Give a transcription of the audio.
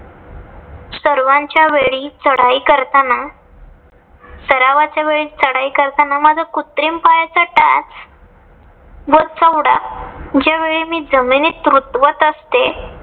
सर्वांच्या वेळी चढाई करताना. सरावाच्या वेळी चढाई करताना. माझ्या कृत्रिम पायाचा टाच वर चवढा ज्यावेळी मी जमिनीत रुतवत असते.